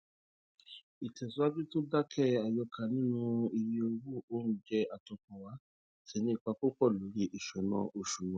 ìtẹsíwájú tó dákẹ àyọkà nínú iye owó oúnjẹ àtọkànwá ti nípa púpọ lórí ìsúná oṣù wa